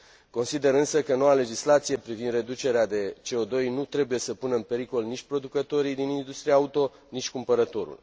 Consider, însă, că noua legislație privind reducerea de CO 2 nu trebuie să pună în pericol nici producătorii din industria auto, nici cumpărătorul.